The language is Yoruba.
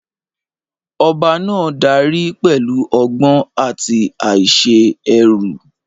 Ọba náà dárí pẹ̀lú ọgbọ́n àti àìṣe èrú.